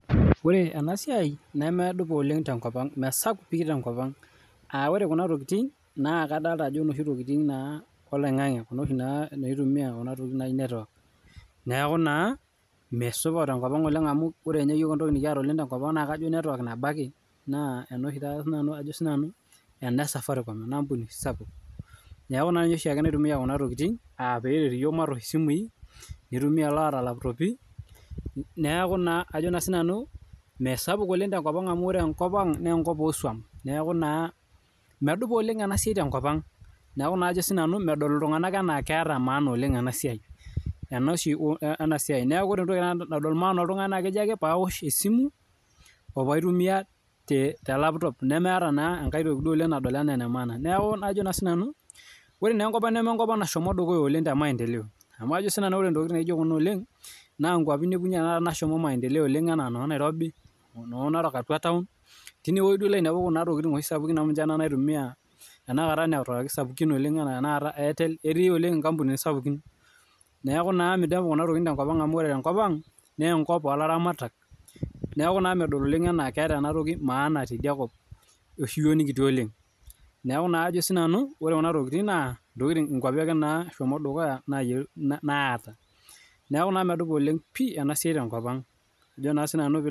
Ore enasiai nemedupa oleng' tenkopang' mesapuk pii tenkopang'. Aaah ore kuna tokiting naa kadolita ajo inoshi tokiting' naa oloing'ange kuna oshi naa naitumia kuna tokiting' naaji cs[network]cs, neeku naa meesupat oleng' tenkopang' oleng amuu ore ninye iyook enekiata tenkopang naa kajo cs[network]cs nabo ake, naa ena oshi taata ajo naa sinanu ena esafarikom, enaampuni oshi sapuk, neeku naa ninye oshiake naitumia kuna tokini aa peeret iyook maatosh isimui, nitumia laata ilapitopi, neeku naa ajo naa sinanu meesap tenkop ang' amuu ore enkopang' naa enkop ooswam, neeku naa medupa oleng' ena siai tenkop. Neeku naa medol iltung'ana enaa keeta maana oleng' ena siai, ena oshi ena siai, neeku naa entoki nadol naa paaoshesimu opaitumia telaptop nemeeta naa enkai toki nadol naa enaa enemaana, neeku naa ajo naa sinanu ore naa enkopang' nemeenkop nashomo dukuya oleng' temaendeleo amu ajo naa sinanu ore intokiting' naijo kuna oleng' naa ikuapi inepunye enaa tanakata naashomoita maendeleo oleng' enaa noo Nairobi noo Narok atua taon tine weji ilo ainepu kuna tokiting' oshi sapuk amuu ninje naa naitumia kuna netuwaki sapukini oleng' enaa cs[Airtel]cs etii oleng' ikampunini sapukin, neeku naa minepu kuna tokiting' tenkopang' oleng amu ore enkopang' naa enkop oolaramatak, neeku naa medol oleng' ena keeta ena toki maana teidia kop oshi yiook nikitii oleng' neeku naa ajo sinanu ikuapi ake naashomo dukuya ake naata, neeku naa medupa ena siai pii tenkopang' ajo naa sinanu piilayolou.